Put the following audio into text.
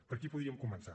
per aquí podríem començar